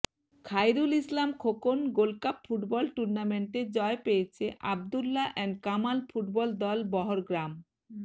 Khairul Islam Khokon gold cup football টুর্নামেন্টে জয় পেয়েছে আব্দুল্লা এন্ড কামাল ফুটবল দল বহরগ্রাম